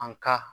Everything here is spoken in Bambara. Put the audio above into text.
An ka